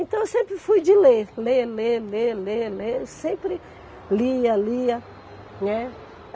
Então eu sempre fui de ler, ler, ler, ler, ler, ler, sempre lia, lia, né.